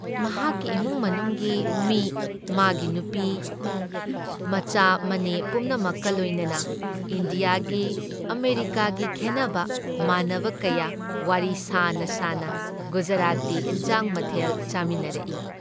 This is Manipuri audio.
ꯃꯍꯥꯥꯥꯥꯛꯀꯤ ꯏꯃꯨꯡ ꯃꯅꯨꯡꯒꯤ ꯃꯤ ꯃꯥꯒꯤ ꯅꯨꯄꯤ, ꯃꯆꯥ ꯃꯅꯦ ꯄꯨꯝꯅꯃꯛꯀ ꯂꯣꯏꯅꯅ ꯏꯟꯗꯤꯌꯥꯒꯤ, ꯑꯃꯦꯔꯤꯀꯥꯒꯤ ꯈꯦꯟꯅꯕ, ꯃꯥꯟꯅꯕ, ꯀꯌꯥ ꯋꯥꯔꯤ ꯁꯥꯅ ꯁꯥꯅ ꯒꯨꯖꯔꯥꯇꯤ ꯏꯟꯖꯥꯡ ꯃꯊꯦꯜ ꯆꯥꯃꯤꯟꯅꯔꯛꯏ ꯫